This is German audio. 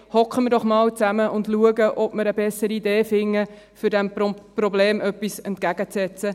Sitzen wir doch einmal zusammen und schauen, ob wir eine bessere Idee finden, um diesem Problem etwas entgegenzusetzen.